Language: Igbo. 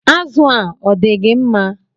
Azụ a, odigi mma?